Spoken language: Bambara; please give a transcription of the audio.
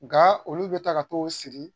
Nga olu be taa ka t'u sigi